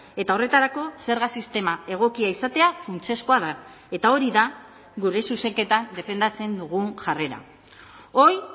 eta horretarako zerga sistema egokia izatea funtsezkoa da eta hori da gure zuzenketan defendatzen dugun jarrera hoy